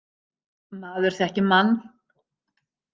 Maður þekkir mann.